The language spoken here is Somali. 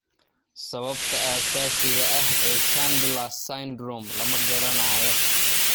Sababta asaasiga ah ee Chandler's syndrome lama garanayo.